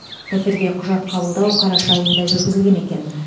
пәтерге құжат қабылдау қараша айында жүргізілген екен